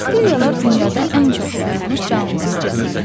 Bakteriyalar dünyada ən çox yayılmış canlılardır.